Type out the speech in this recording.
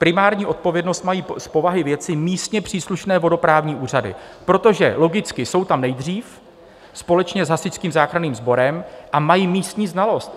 Primární odpovědnost mají z povahy věci místně příslušné vodoprávní úřady, protože logicky jsou tam nejdřív společně s Hasičským záchranným sborem, a mají místní znalost.